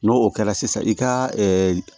N'o o kɛra sisan i ka